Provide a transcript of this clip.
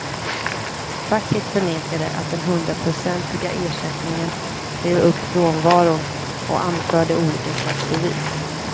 Facket förnekade att den hundraprocentiga ersättningen drev upp frånvaron och anförde olika slags bevis.